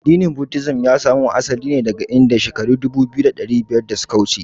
Addinin "Buddhism" ya samo asali daga Indiya shekara dubu biyu da ɗari biyar da suka wuce.